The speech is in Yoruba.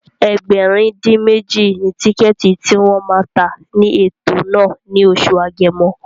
Ẹgbẹ̀rin-dín-méjì ni tíkẹ̀ẹ̀tì tí wọ́n ma tà ní ètò náà ní oṣù Agẹmọ